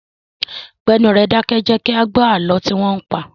Gbé ẹnu rẹ dákẹ́! Jẹ kí a gbó àlọ́ tí wọn ń pa!